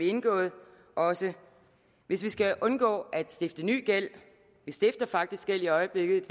indgået også hvis vi skal undgå at stifte ny gæld vi stifter faktisk gæld i øjeblikket